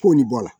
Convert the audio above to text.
K'o nin bɔ a la